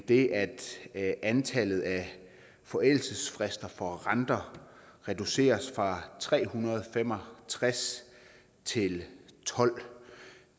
det er at antallet af forældelsesfrister for renter reduceres fra tre hundrede og fem og tres til tolvte